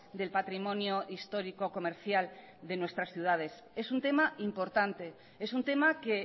del patrimonio histórico comercial de nuestras ciudades es un tema importante es un tema que